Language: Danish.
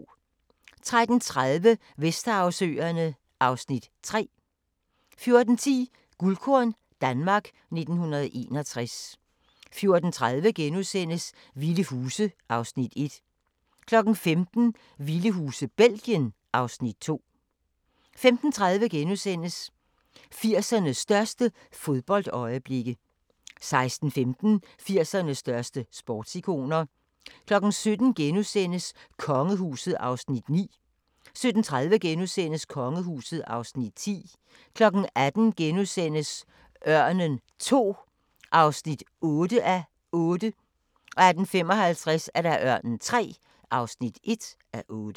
13:30: Vesterhavsøerne (Afs. 3) 14:10: Guldkorn - Danmark 1961 14:30: Vilde Huse (Afs. 1)* 15:00: Vilde huse – Belgien (Afs. 2) 15:30: 80'ernes største fodboldøjeblikke * 16:15: 80'ernes største sportsikoner 17:00: Kongehuset (Afs. 9)* 17:30: Kongehuset (Afs. 10)* 18:00: Ørnen II (8:8)* 18:55: Ørnen III (1:8)